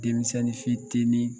Denmisɛnni fitini